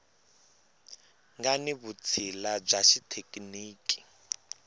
nga ni vutshila bya xithekiniki